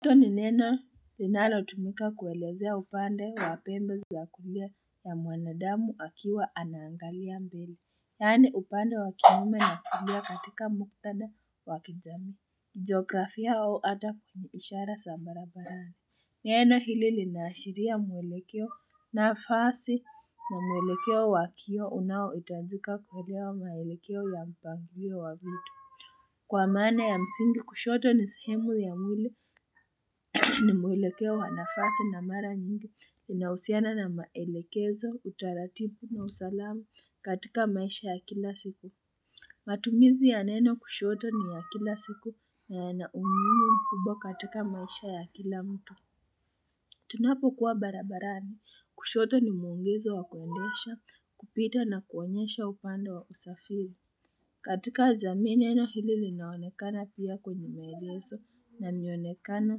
Kushoto ni neno linalo tumika kuelezea upande wa pembe za kulia ya mwanadamu akiwa anaangalia mbele. Yaani upande wa kinume na kulia katika muktada wa kijamii Geografia wao hata ishara za barabarani. Neno hili linahashiria mwelekeo na fasi na mwelekeo wakio unao hitajika kuelewa maelekeo ya mpangilio wa vitu. Kwa maana ya msingi kushoto ni sehemu ya mwili. Ni mwelekeo wa nafasi na mara nyingi inahusiana na maelekezo, utaratibu na usalama katika maisha ya kila siku. Matumizi ya neno kushoto ni ya kila siku na yana umuhimu mkubwa katika maisha ya kila mtu. Tunapo kuwa barabarani, kushoto ni mwongozo wa kuendesha, kupita na kuonesha upando wa usafiri. Katika jamii neno hili linaonekana pia kwenye maelezo na mionekano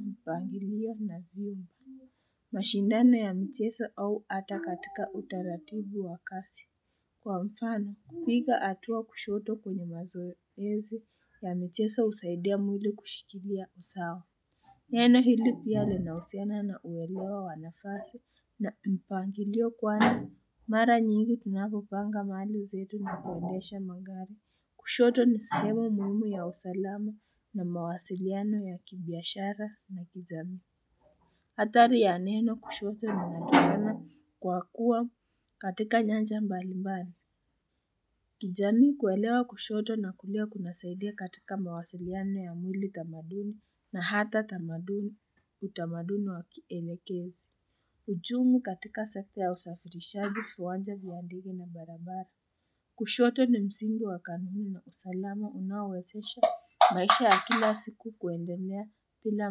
mpangilia na vyema. Mashindano ya michezo au hata katika utaratibu wa kazi. Kwa mfano, kupiga hatua kushoto kwenye mazoezi ya michezo husaidia mwili kushikilia usawa. Neno hili pia linahusiana na uwelewa wanafasi na mpangilio kwani. Mara nyingi tunapo panga mali zetu na kuendesha magari. Kushoto ni sahemu muhimu ya usalama na mawasiliano ya kibiashara na kijamii. Hatari ya neno kushoto linatungana kwa kuwa katika nyanja mbalimbali. Kijani kuelewa kushoto na kulia kunasaidia katika mawasiliano ya mwili tamaduni na hata tamaduni utamadunu wakielekezi. Hujumu katika sekta ya usafirishaji viwanja vya ndege na barabara. Kushoto ni msingi wa kanuni na usalama unaowezesha maisha ya kila siku kuendelea bila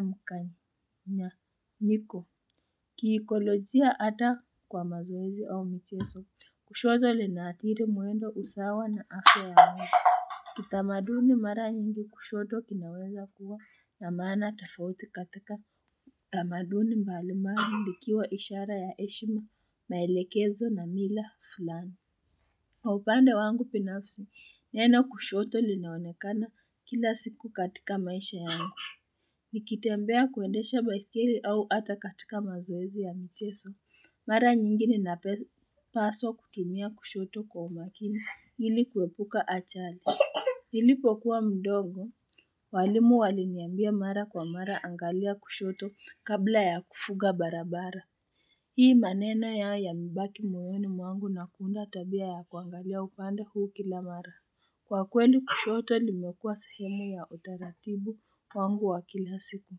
mkanganyiko. Kiikolojia hata kwa mazoezi au michezo kushoto linatiri mwendo usawa na afya ya mwili. Kitamaduni mara nyingi kushoto inaweza kuwa na maana tofauti katika tamaduni mbalimbali likiwa ishara ya heshima maelekezo na mila fulani. Kwa upande wangu binafsi, neno kushoto linaonekana kila siku katika maisha yangu. Nikitembea kuendesha baiskeli au hata katika mazoezi ya michezo. Mara nyingi ninapaswa kutumia kushoto kwa umakini ili kuepuka ajali. Nilipo kuwa mdogo, walimu waliniambia mara kwa mara angalia kushoto kabla ya kuvuka barabara. Hii maneno yamebaki moyoni mwangu na kuunda tabia ya kuangalia upande huu kila mara. Kwa kweli kushoto limekua sehemu ya utaratibu wangu wa kila siku.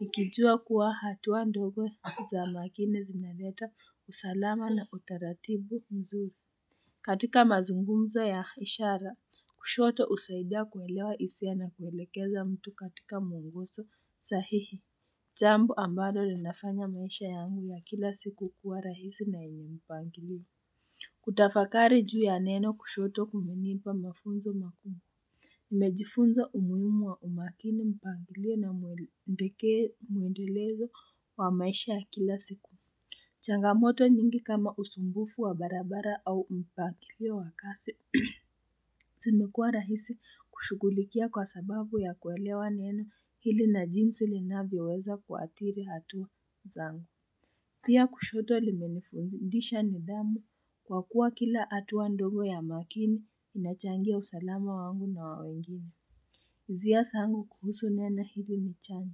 Nikijua kuwa hatua ndogo za makini zinaleta usalama na utaratibu mzuri. Katika mazungumzo ya ishara, kushoto husaidia kuelewa hisia na kuelekeza mtu katika mwongozo sahihi. Jambo ambalo linafanya maisha yangu ya kila siku kuwa rahisi na yenye mpangilio. Kutafakari juu ya neno kushoto kumenipa mafunzo makubwa. Nimejifunza umuhimu wa umakini mpangilio na mwendelezo wa maisha ya kila siku. Changamoto nyingi kama usumbufu wa barabara au mpangilio wa kazi. Zimekuwa rahisi kushughulikia kwa sababu ya kuelewa neno hili na jinsi linavyoweza kuatiri hatua zangu. Pia kushoto limenifundisha nidhamu kwa kuwa kila hatua ndogo ya makini inachangia usalama wangu na wawengine. Hisia zangu kuhusu neno hili ni chanya.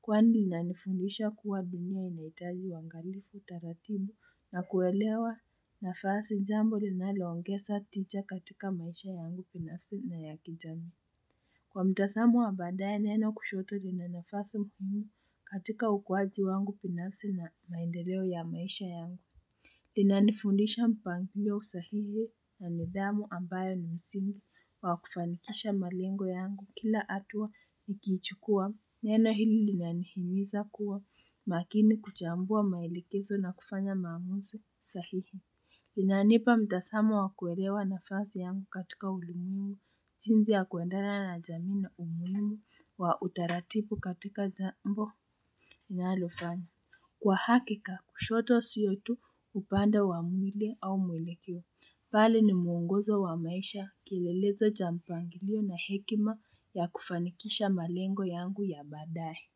Kwani linanifundisha kuwa dunia inahitaji uangalifu taratibu nakuelewa nafasi jambo linaloongeza tisha katika maisha yangu binafsi na ya kijamii. Kwa mtazamo wa baadae neno kushoto lina nafasi muhimu katika ukuwaji wangu binafsi na maendeleo ya maisha yangu. Linanifundisha mpangiio sahihi na nidhamu ambayo ni msingi wa wakufanikisha malengo yangu kila hatua nikiichukua. Neno hili linyanihimiza kuwa makini kuchambua maelekezo na kufanya maamuzi sahihi. Linanipa mtazamo wa kuelewa nafasi yangu katika ulimwengu. Jinsi ya kuendana na jamii na umuhimu wa utaratibu katika jambo inalofanya. Kwa hakika kushoto siyo tu upande wa mwili au mwelekeo. Bali ni mwongozo wa maisha kilelezo cha mpangilio na hekima ya kufanikisha malengo yangu ya baadae.